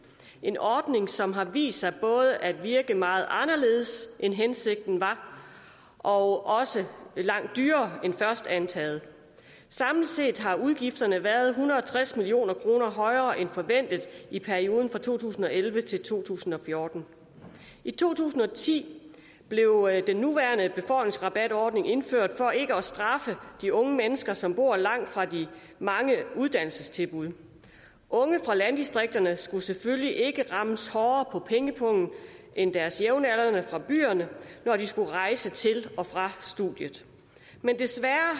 en ordning som har vist sig både at virke meget anderledes end hensigten var og også at blive langt dyrere end først antaget samlet set har udgifterne været en hundrede og tres million kroner højere end forventet i perioden fra to tusind og elleve til to tusind og fjorten i to tusind og ti blev den nuværende befordringsrabatordning indført for ikke at straffe de unge mennesker som bor langt fra de mange uddannelsestilbud unge fra landdistrikterne skulle selvfølgelig ikke rammes hårdere på pengepungen end deres jævnaldrende fra byerne når de skulle rejse til og fra studiet men desværre